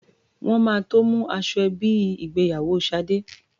Wọn máa tó mú aṣọ ẹbí ìgbéyàwó Ṣadé.